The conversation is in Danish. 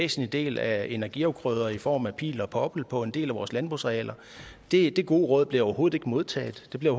væsentlig del af energiafgrøder i form af pil og poppel på en del af vores landbrugsarealer det det gode råd blev overhovedet ikke modtaget det blev